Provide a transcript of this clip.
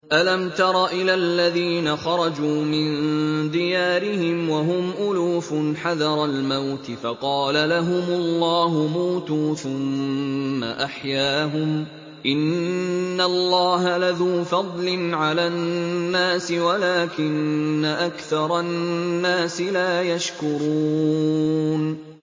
۞ أَلَمْ تَرَ إِلَى الَّذِينَ خَرَجُوا مِن دِيَارِهِمْ وَهُمْ أُلُوفٌ حَذَرَ الْمَوْتِ فَقَالَ لَهُمُ اللَّهُ مُوتُوا ثُمَّ أَحْيَاهُمْ ۚ إِنَّ اللَّهَ لَذُو فَضْلٍ عَلَى النَّاسِ وَلَٰكِنَّ أَكْثَرَ النَّاسِ لَا يَشْكُرُونَ